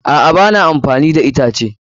A'a, ba na amfani da itace.